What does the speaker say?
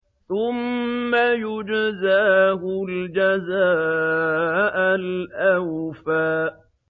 ثُمَّ يُجْزَاهُ الْجَزَاءَ الْأَوْفَىٰ